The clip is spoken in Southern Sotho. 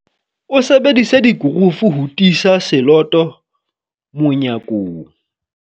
o sebedisitse dikurufu ho tiisa seloto monyakong.